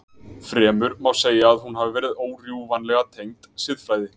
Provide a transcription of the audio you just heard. Fremur má segja að hún hafi verið órjúfanlega tengd siðfræði.